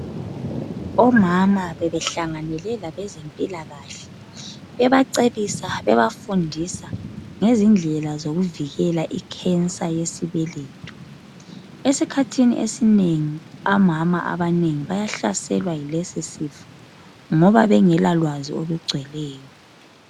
Omama bebehlanganele labezempilakahle, bebacebisa bebafundisa ngezindlela zokuvikela icancer yesibeletho. Esikhathini esinengi amama abanengi bayahlaselwa yilesi sifo ngoba bengelalwazi olugcweleyo.